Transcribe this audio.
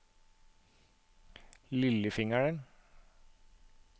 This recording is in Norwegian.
lillefingeren